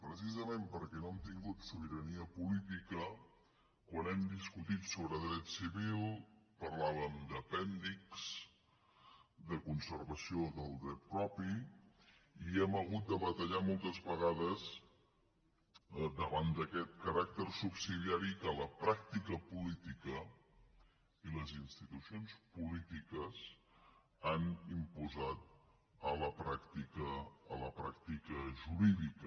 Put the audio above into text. precisament perquè no hem tingut sobirania política quan hem discutit sobre dret civil parlàvem d’apèndix de conservació del dret propi i hem hagut de batallar moltes vegades davant d’aquest caràcter subsidiari que la pràctica política i les institucions han imposat a la pràctica jurídica